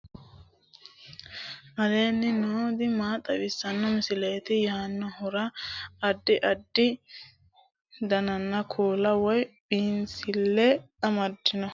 aleenni nooti maa xawisanno misileeti yinummoro addi addi dananna kuula woy biinsille amaddino footooti yaate qoltenno baxissannote xa tenne yannanni togoo footo haara danvchate